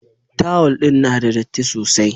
Tawul din na da datti sosai.